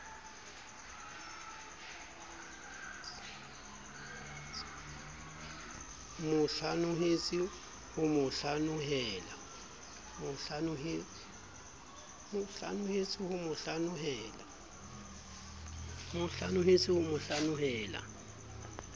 mo hlanohetse ho mo hlanohela